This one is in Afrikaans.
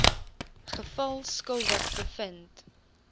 geval skuldig bevind